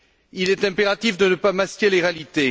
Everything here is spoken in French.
Il est impératif de ne pas masquer les réalités.